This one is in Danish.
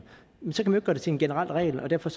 men så kan gøre det til en generel regel og derfor